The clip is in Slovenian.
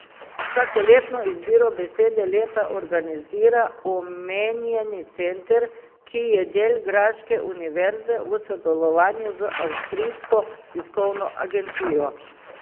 Vsakoletno izbiro besede leta organizira omenjeni center, ki je del graške univerze, v sodelovanju z avstrijsko tiskovno agencijo.